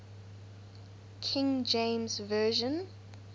king james version